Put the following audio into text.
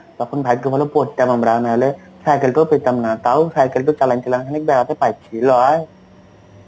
তখন ভাগ্য ভালো পড়তাম আমরা নইলে cycle টাও পেতাম না. তাও cycle টাও চালাইছিলাম, দাঁড়তে পারছি লয়?